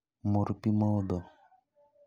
Mur pii modho